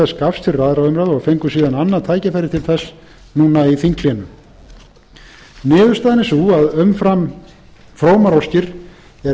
fengu síðan annað tækifæri til þess nú í þinghléi niðurstaðan er sú að umfram frómar óskir er